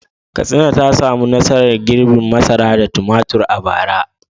Katsina ta samu nasarar girbin masara da tumatir a bara.